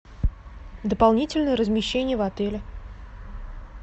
дополнительное размещение в отеле